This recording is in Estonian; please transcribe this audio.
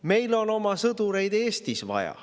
Meil on oma sõdureid Eestis vaja.